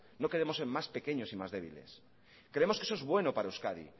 no queremos ser más pequeños y más débiles creemos que eso es bueno para euskadi